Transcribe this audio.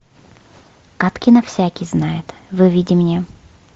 кадкина всякий знает выведи мне